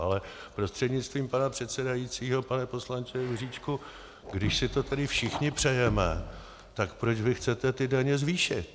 Ale prostřednictvím pana předsedajícího pane poslanče Juříčku, když si to tedy všichni přejeme, tak proč vy chcete ty daně zvýšit?